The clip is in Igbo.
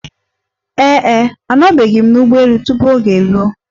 Ee e, anọbeghị m n'ụgbọ elu tupu oge eruo.